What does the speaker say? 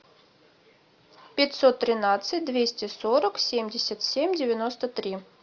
пятьсот тринадцать двести сорок семьдесят семь девяносто три